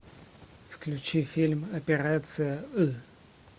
включи фильм операция ы